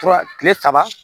Tura kile saba